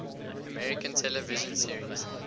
american television series